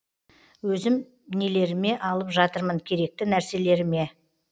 өзім нелеріме алып жатырмын керекті нәрселеріме